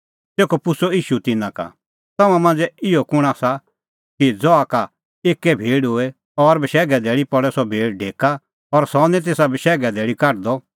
तेखअ पुछ़अ ईशू तिन्नां का तम्हां मांझ़ै इहअ कुंण आसा कि ज़हा का एक्कै भेड़ होए और बशैघे धैल़ी पल़े सह भेड़ ढेका और सह निं तेसा बशैघे धैल़ी काढदअ